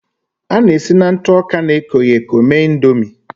A na-esi na ntụ ọka na-ekoghị eko mee Ị̀ndómị́